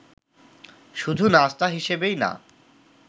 শুধু নাস্তা হিসেবেই না